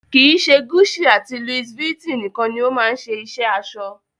Kii ṣe Gucci àti Louis Vuitton nikan ni o ma se iṣẹ aṣọ.